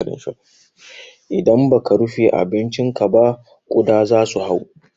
Idan baka rufe abincinka ba kuɗa zasu hau.